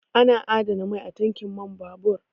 Ana adana mai a tankin man babur